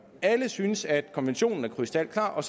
alle synes at konventionen er krystalklar og